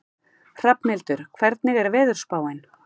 Hrafnhildur, hvernig er veðurspáin?